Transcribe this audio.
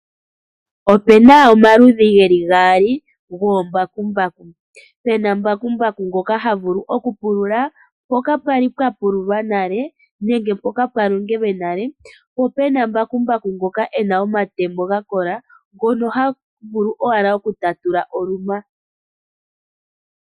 Opuna omaludhi geli gaali gobakumbaku, puna mbakumbaku ngoka ha vulu okupulula mpoka pwali pwa pululwa nale nenge mpoka pwa longelwe nale, po puna mbakumbaku ngoka e na omatemo ga kola, ngono haga vulu owala oku tatula olunwa.